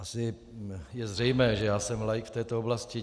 Asi je zřejmé, že já jsem laik v této oblasti.